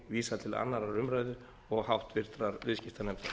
vísað til annarrar umræðu og háttvirtur viðskiptanefndar